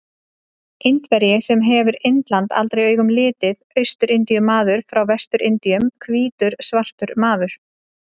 Indverji sem hefur Indland aldrei augum litið, Austur-Indíu-maður frá Vestur-Indíum, hvítur svartur maður.